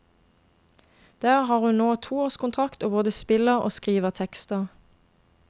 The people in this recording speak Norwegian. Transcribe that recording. Der har hun nå toårskontrakt og både spiller og skriver tekster.